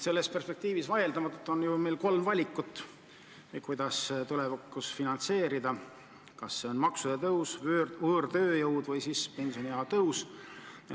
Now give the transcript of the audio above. Aga perspektiivis on meil vaieldamatult kolm valikut, kuidas tulevikus pensione maksta: need on maksude tõus, võõrtööjõu kasutamine või pensioniea tõus.